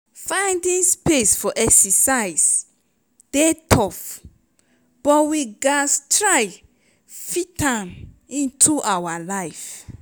finding space for exercise dey tough but we gatz try fit am into our life.